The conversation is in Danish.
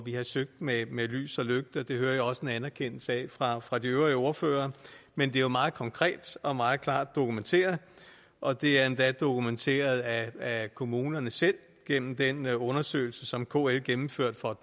vi har søgt med med lys og lygte det hører jeg også en anerkendelse af fra fra de øvrige ordførere men det er meget konkret og meget klart dokumenteret og det er endda dokumenteret af kommunerne selv gennem den undersøgelse som kl gennemførte for